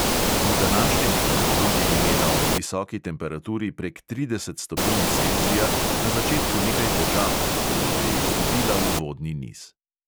V današnjem finalu je imela ob visoki temperaturi prek trideset stopinj celzija na začetku nekaj težav, tako da je izgubila uvodni niz.